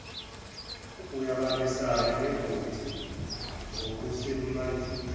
uyabambisana nebhodi ngokusemandleni